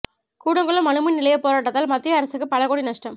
கூடங்குளம் அணுமின் நிலைய போராட்டத்தால் மத்திய அரசுக்கு பல கோடி நஷ்டம்